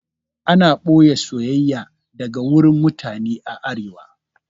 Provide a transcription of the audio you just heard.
Ana ɓoye soyayya daga wurin mutane a arewa